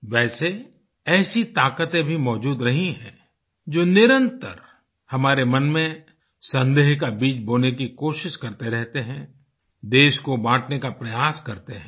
वैसे ऐसी ताकतें भी मौजूद रही हैं जो निरंतर हमारे मन में संदेह का बीज बोने की कोशिश करते रहते हैं देश को बाँटने का प्रयास करते हैं